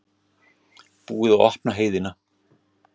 Búið að opna heiðina